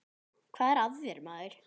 Hvað er að þér maður?